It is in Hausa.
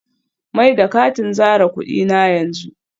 Mai da katin zare kudi na yanzu